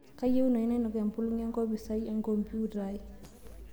kaayieunoyu nainok empulag enkopis ai enkombiuta ai